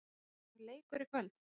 Er ekki einhver leikur í kvöld?